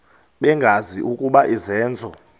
bengazi ukuba izenzo